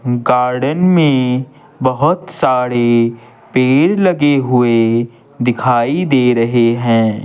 Garden में बहुत सारे पेड़ लगे हुए दिखाई दे रहे हैं।